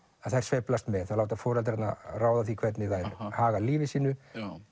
að þær sveiflast með þær láta foreldrana ráða því hvernig þær haga lífi sínu